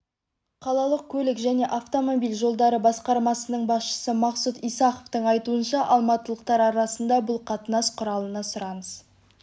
қалалық көлік және автомобиль жолдары басқармасының басшысы мақсұт исаховтың айтуынша алматылықтар арасында бұл қатынас құралына сұраныс